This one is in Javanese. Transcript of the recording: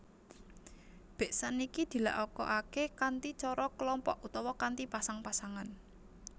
Beksan iki dilakokake kanthi cara kelompok utawa kanthi pasang pasangan